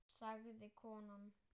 sagði konan.